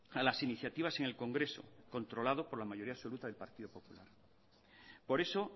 a las iniciativas en el congreso controlado por la mayoría absoluta del partido popular por eso